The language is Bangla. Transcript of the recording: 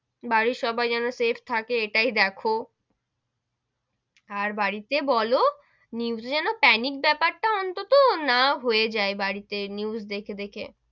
বাড়ির সবাই যেন safe থাকে এটাই দেখো, আর বাড়ি তে বোলো news এ যেন panic বেপার টা অন্তত না হয়ে যাই বাড়ি তে news দেখে দেখে,